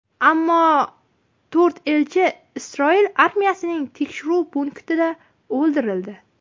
Ammo to‘rt elchi Isroil armiyasining tekshiruv punktida o‘ldirildi.